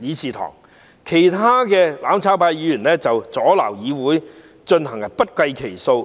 議事堂，其他"攬炒派"議員阻撓會議進行也不計其數。